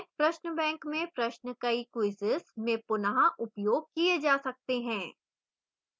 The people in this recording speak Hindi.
प्रश्न bank में प्रश्न कई quizzes में पुन: उपयोग किए जा सकते हैं